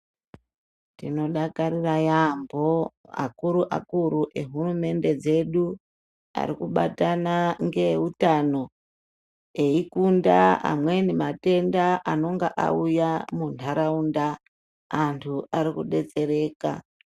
Tinodakarira yambo akuruakuru ehurumende dzedu arikubatana ngeutano eikunda amweni matenda anonga auya munharaunda .Antu arikudetsereka .